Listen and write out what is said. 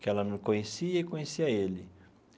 que ela me conhecia e conhecia ele.